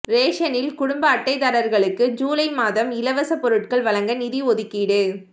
ரேஷனில் குடும்ப அட்டைதாரர்களுக்கு ஜுலை மாதம் இலவச பொருட்கள் வழங்க நிதி ஒதுக்கீடு